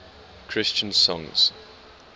christian songs